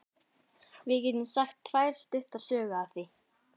Við getum sagt tvær stuttar sögur af því.